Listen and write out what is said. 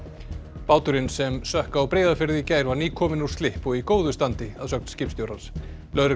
báturinn sem sökk á Breiðafirði í gær var nýkominn úr slipp og í góðu standi að sögn skipstjóra lögregla